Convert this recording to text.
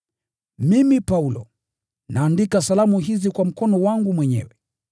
Mimi, Paulo, naandika salamu hizi kwa mkono wangu mwenyewe.